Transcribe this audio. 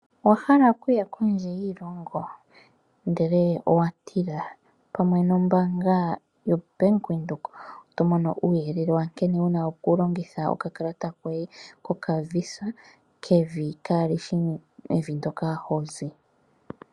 Owahala okuya kondje yiilongo, ndele owatila pamwe nombaanga yoBank Windhoek otomono uuyelele wa nkene wuna okulongitha oka kalata koye ko kaVisa kevi kaalishi Evi ndyoka hozi.